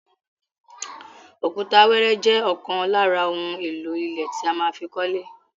Òkúta wẹ́ẹ́rẹ́ jẹ́ ọ̀kan lára ohun èlò ilẹ̀ tí a má fi kọ́lé.